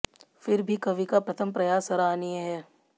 फिर भी कवि का प्रथम प्रयास सराहनीय है